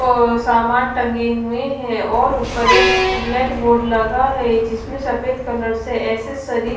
और सामान टंगे हुए हैं और ऊपर एक ब्लैक बोर्ड लगा है जिसमें सफेद कलर से एक्सेसरीज --